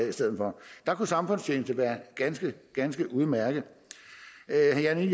i stedet for der kunne samfundstjeneste jo være ganske ganske udmærket herre jan